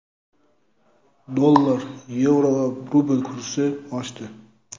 Dollar, yevro va rubl kursi oshdi.